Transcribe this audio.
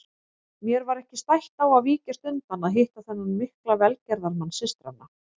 Mér var ekki stætt á að víkjast undan að hitta þennan mikla velgerðamann systranna.